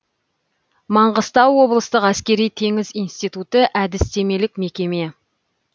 маңғыстау облыстық әскери теңіз институты әдістемелік мекеме